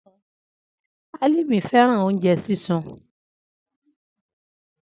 Alimi fẹran ounjẹ sisun.